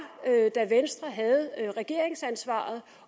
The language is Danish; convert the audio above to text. da venstre havde regeringsansvaret